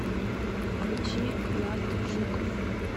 включи влад жуков